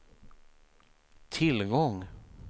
tillgång